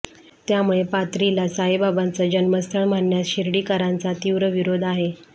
त्यामुळे पाथरीला साईबाबांचं जन्मस्थळ म्हणण्यास शिर्डीकरांचा तिव्र विरोध आहे